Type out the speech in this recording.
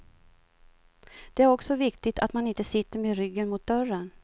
Det är också viktigt att man inte sitter med ryggen mot dörren.